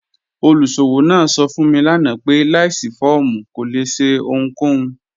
Olùṣọwọ naa sọ̀ fún mi lànà pé láìṣí fọ̀ọ̀mù kò lè ṣẹ̀ ohunkòhun.